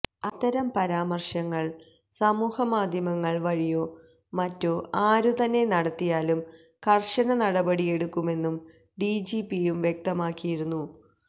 അത്തരം പരാമര്ശങ്ങള് സമൂഹമാധ്യമങ്ങള് വഴിയോ മറ്റോ ആരു തന്നെ നടത്തിയാലും കര്ശന നടപടി എടുക്കുമെന്ന് ഡിജിപിയും വ്യക്തവുമാക്കിയിരുന്നു